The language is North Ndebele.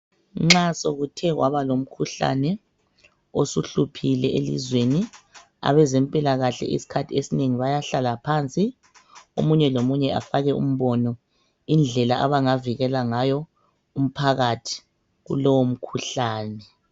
Nxa sokuthe kwaba lomkhuhlane osuhluphile elizweni, abezempilakahle iskhathi esnengi bayahlala phansi omunye lomunye afake umbono indlela abangavikela ngayo umphakathi kulowo mkhuhlane.